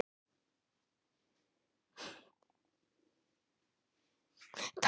Þetta hef ég gert í mörg ár.